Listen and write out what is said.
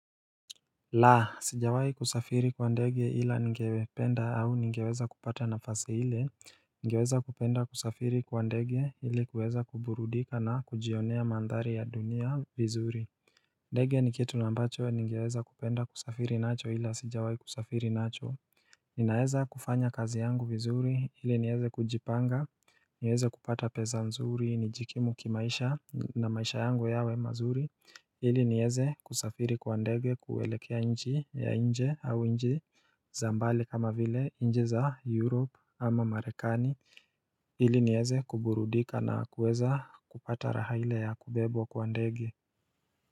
Laa, sijawai kusafiri kwa ndege ila ningependa au ningeweza kupata nafasi hile, ningeweza kupenda kusafiri kwa ndege ili kuweza kuburudika na kujionea mandhari ya dunia vizuri ndege ni kitu na ambacho ningeweza kupenda kusafiri nacho ila sijawai kusafiri nacho Ninaeza kufanya kazi yangu vizuri hili nieze kujipanga niweze kupata pesa mzuri ni jikimu kimaisha na maisha yangu yawe mazuri hili nieze kusafiri kwandege kuwelekea nji ya nje au nji za mbali kama vile nji za Europe ama Marekani hili nieze kuburudika na kuweza kupata raha ile ya kubebwa kwandege.